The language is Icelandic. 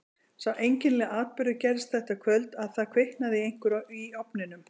Sá einkennilegi atburður gerðist þetta kvöld að það kviknaði í einhverju í ofninum.